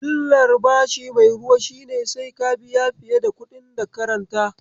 Illar bashi mai ruwa shine sai ka biya fiye da kuɗin daka ranta.